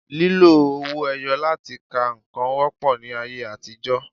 Lílo owó ẹyọ láti ka nǹkan wọ́pọ̀ ní ayé àtijọ́